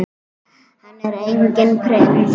Hann er enginn prins.